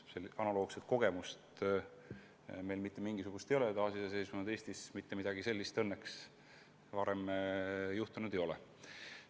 Meil ei ole mitte mingisugust analoogset kogemust, taasiseseisvunud Eestis mitte midagi sellist õnneks varem juhtunud ei ole.